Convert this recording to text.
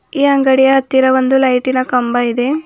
ಈ ಅಂಗಡಿಯ ಹತ್ತಿರ ಒಂದು ಲೈಟಿನ ಕಂಬ ಇದೆ.